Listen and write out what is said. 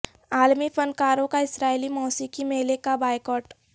عالمی فن کاروں کا اسرائیلی موسیقی میلے کا بائیکاٹ